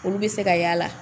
Olu bɛ se ka y'a la;